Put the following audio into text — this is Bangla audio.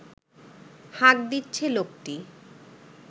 হাঁক দিচ্ছে লোকটি